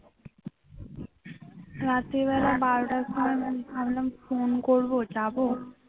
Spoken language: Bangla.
রাত্রিবেলা বারোটার পর ভাবলাম ফোন করবো যাব